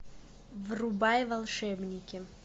врубай волшебники